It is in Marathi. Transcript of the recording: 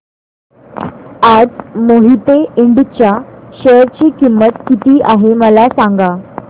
आज मोहिते इंड च्या शेअर ची किंमत किती आहे मला सांगा